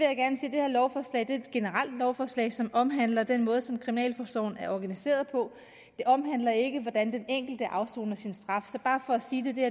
her lovforslag er et generelt lovforslag som omhandler den måde som kriminalforsorgen er organiseret på det omhandler ikke hvordan den enkelte afsoner sin straf så bare for at sige